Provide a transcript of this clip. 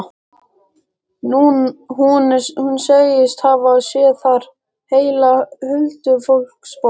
Hún segist hafa séð þar heila huldufólksborg.